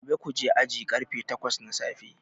Gobe kuje aji karfe takwas na safe